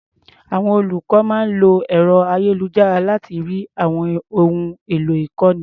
Àwọn olùkọ́ máa ń lo ẹ̀ro-ayélujára láti rí àwọn ohun èlò ìkọ́ni.